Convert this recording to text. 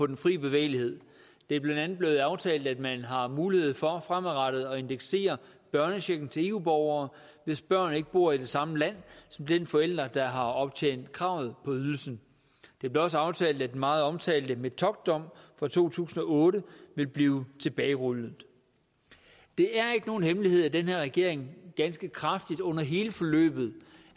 den fri bevægelighed det er blandt andet blevet aftalt at man har mulighed for fremadrettet at indeksere børnechecken til eu borgere hvis børn ikke bor i det samme land som den forælder der har optjent kravet på ydelsen det blev også aftalt at den meget omtalte metockdom fra to tusind og otte vil blive tilbagerullet det er ikke nogen hemmelighed at den her regering ganske kraftigt under hele forløbet